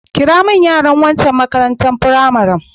Kirawo min yaran wancan makarantar firamaren.